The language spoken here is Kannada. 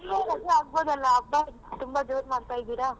ರಜಾ ಹಾಕಬೋದಲ್ಲ ಹಬ್ಬ ತುಂಬಾ ಜೋರ್ ಮಾಡ್ತಾ ಇದಿರಾ.